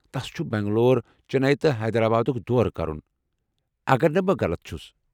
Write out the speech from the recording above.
تس چھُ بنٛگلور، چنّیی تہٕ حیدرآبادُک دورٕ کرُن، اگر نہٕ بہٕ غلط چھُس ۔